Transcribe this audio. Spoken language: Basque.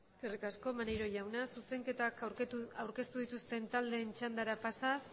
eskerrik asko maneiro jaunak zuzenketak aurkeztu dituzten taldeen txandara pasaz